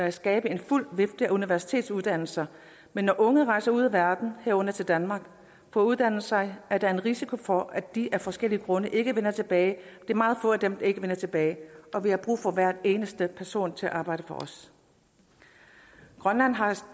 at skabe en fuld vifte af universitetsuddannelser men når unge rejser ud i verden herunder til danmark for at uddanne sig er der en risiko for at de af forskellige grunde ikke vender tilbage det er meget få af dem der ikke vender tilbage og vi har brug for hver eneste person til at arbejde for os grønland har et